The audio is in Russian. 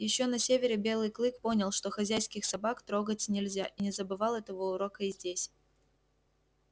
ещё на севере белый клык понял что хозяйских собак трогать нельзя и не забывал этого урока и здесь